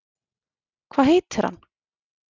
Hvað heitir hann?